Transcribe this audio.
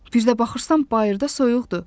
Bir də baxırsan bayırda soyuqdur.